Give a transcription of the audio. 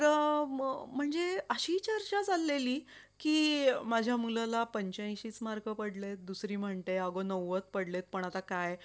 तर कधी पण कोणी सांगत नाही अन तू पण सांगू नको कोणाला तुला किती पैसे वाचले बर का